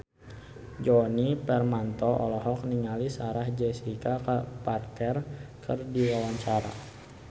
Djoni Permato olohok ningali Sarah Jessica Parker keur diwawancara